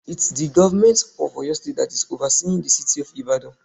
It's the government of Oyo State that is overseeing the city of Ìbàdàn.